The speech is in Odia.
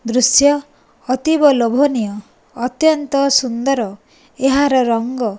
ଦୃଶ୍ୟ ଅତୀବ ଲୋଭନୀୟ ଅତନ୍ତ୍ୟ ସୁନ୍ଦର ଏହାର ରଙ୍ଗ --